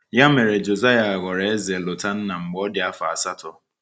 Ya mere Josiah ghọrọ eze Lotanna mgbe ọ dị afọ asatọ.